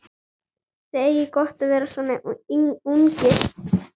Þið eigið gott að vera svona ungir.